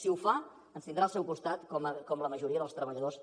si ho fa ens tindrà al seu costat com la majoria dels treballadors